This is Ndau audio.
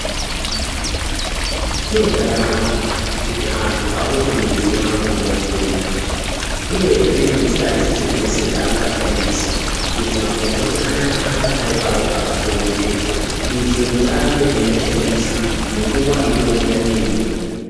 Chiro chakanaka kuti antu apote eiziya makomboti echindau uyezve nenzira dzese-dzese dzaangashandisa kuti makomboti anaya ange ari paro pakachengetedzwa kuitire kuti arambe eiashandisa munguwa inouya neinouya.